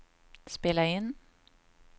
spela in